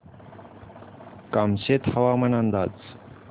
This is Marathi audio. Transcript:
कामशेत हवामान अंदाज